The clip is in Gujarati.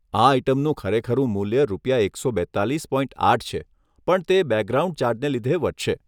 આ આઇટમનું ખરેખરું મૂલ્ય રૂપિયા એકસો બેત્તાલીસ પોઇન્ટ આઠ છે, પણ તે બેકગ્રાઉન્ડ ચાર્જને લીધે વધશે.